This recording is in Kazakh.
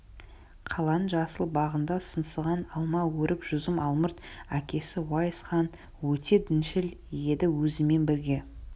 қаланың жасыл бағында сыңсыған алма өрік жүзім алмұрт әкесі уайс хан өте діншіл еді өзімен бірге